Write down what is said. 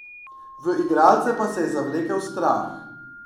V igralce pa se je zavlekel strah.